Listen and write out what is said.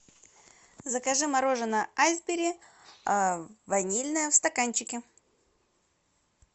закажи мороженое айсберри ванильное в стаканчике